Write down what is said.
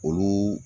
Olu